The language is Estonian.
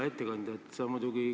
Hea ettekandja!